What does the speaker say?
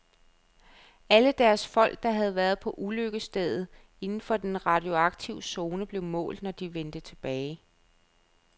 Alle deres folk, der havde været på ulykkesstedet inden for den radioaktive zone, blev målt, når de vendte tilbage.